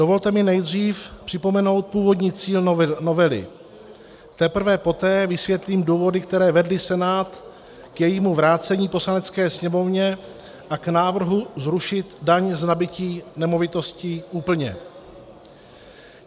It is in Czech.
Dovolte mi nejdřív připomenout původní cíl novely, teprve poté vysvětlím důvody, které vedly Senát k jejímu vrácení Poslanecké sněmovně a k návrhu zrušit daň z nabytí nemovitostí úplně.